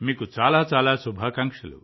మీకు చాలా చాలా శుభాకాంక్షలు